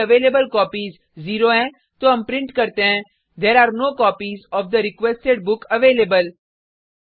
यदि अवेलेबलकोपीज 0 हैं तो हम प्रिंट करते हैं there are no copies of the requested book available